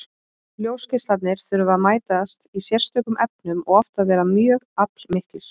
Ljósgeislarnir þurfa að mætast í sérstökum efnum og oft að vera mjög aflmiklir.